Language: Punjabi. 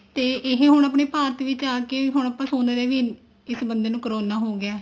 ਤੇ ਹੁਣ ਆਪਣੇ ਭਾਰਤ ਵਿੱਚ ਆ ਕੇ ਹੁਣ ਆਪਾਂ ਸੁਣ ਰਹੇ ਹਾਂ ਵੀ ਇਸ ਬੰਦੇ ਨੂੰ corona ਹੋ ਹੋਗਿਆ